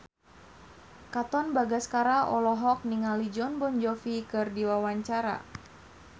Katon Bagaskara olohok ningali Jon Bon Jovi keur diwawancara